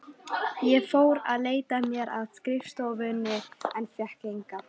Ég fór að leita mér að skrifstofuvinnu en fékk enga.